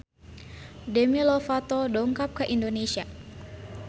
Demi Lovato dongkap ka Indonesia